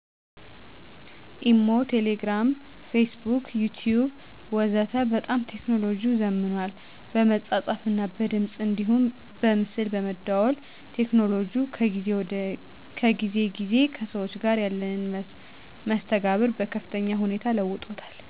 ኢሞ፣ ቴሌግርም ፌስቡክና ዩቲቢብ ወዘተ በጣም ቴክኖሎጅው ዘምኗል በመጻጻፍ እና በድምጽ አንዲሁም በምስል በመደዋወል ቴክኖሎጅው ከጊዜ ግዜ ከሰዎች ጋር ያለንን መስተጋብር በከፍተኛ ሁኔታ ለውጦታል።